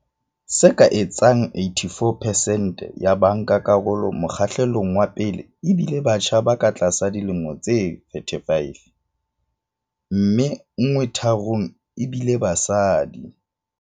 Se ka etsang 84 pesente ya bankakarolo mokgahlelong wa pele e bile batjha ba ka tlasa dilemo tse 35, mme nngwe tharong ebile basadi.